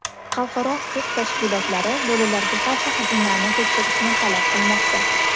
Xalqaro huquq tashkilotlari lo‘lilarga qarshi hujumlarni tekshirishni talab qilmoqda.